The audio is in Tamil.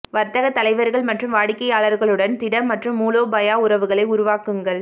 வர்த்தக தலைவர்கள் மற்றும் வாடிக்கையாளர்களுடன் திட மற்றும் மூலோபாய உறவுகளை உருவாக்குங்கள்